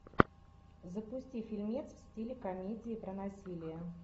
запусти фильмец в стиле комедии про насилие